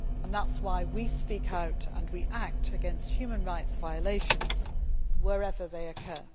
That is why we speak out and we act against human rights violations wherever they occur.